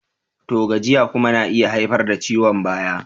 To! gajiya kuma na iya haifar da ciwon baya.